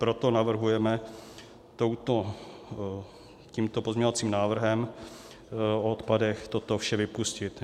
Proto navrhujeme tímto pozměňovacím návrhem o odpadech toto vše vypustit.